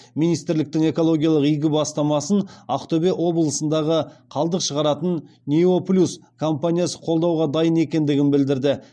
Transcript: министрліктің экологиялық игі бастамасын ақтөбе облысындағы қалдық шығаратын нео плюс компаниясы қолдауға дайын екендігін білдірді